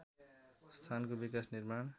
स्थानको विकास निर्माण